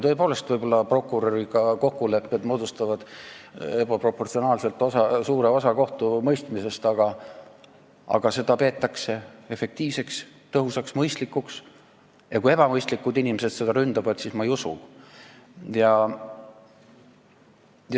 Tõepoolest, võib-olla moodustavad kokkulepped prokuröriga ebaproportsionaalselt suure osa kohtumõistmisest, aga seda kohtumõistmist peetakse efektiivseks, tõhusaks ja mõistlikuks ning kui ebamõistlikud inimesed seda ründavad, siis ma ei usu neid.